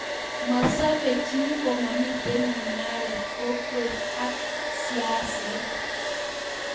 masobe chi komamito mungaret, kokwet ak siaset